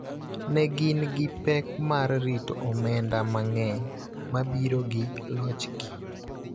ne gin gi pek mar rito omenda mang�eny ma biro gi lochgi.